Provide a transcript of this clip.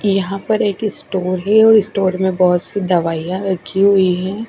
यहां पर एक स्टोर है और इस स्टोर में बहुत सी दवाइयां रखी हुई है।